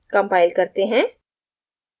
compile करते हैं